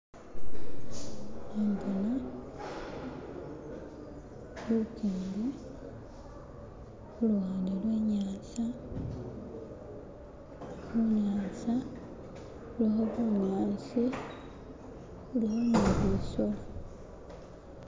hembona lukingi luwande lwenyaza hunyanza huliho bunyasi huliho nibisolo